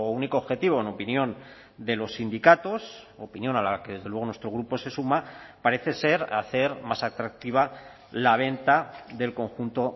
único objetivo en opinión de los sindicatos opinión a la que desde luego nuestro grupo se suma parece ser hacer más atractiva la venta del conjunto